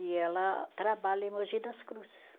E ela trabalha em Mogi das Cruzes.